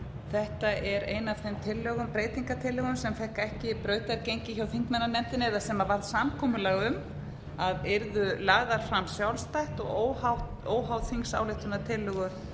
þetta er ein af þeim breytingartillögum sem fengu ekki brautargengi hjá þingmannanefndinni eða sem var samkomulag um að yrðu lagðar fram sjálfstætt og óháð þingsályktunartillögu